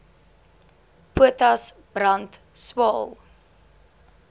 potas brand swael